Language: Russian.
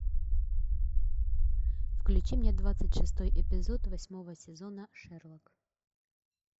включи мне двадцать шестой эпизод восьмого сезона шерлок